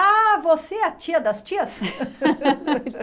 Ah, você é a tia das tias?